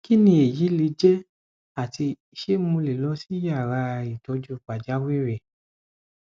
kini eyi leje ati se mo le lọ si yara itoju pajawiri